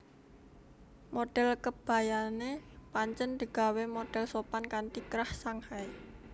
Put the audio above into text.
Modhel kebayané pancen digawé modhel sopan kanthi krah Shanghai